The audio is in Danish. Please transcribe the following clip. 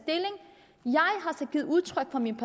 givet udtryk for min